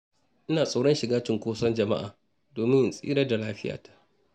Ina tsoron shiga cunkoson jama'a domin in tsira da lafiyata.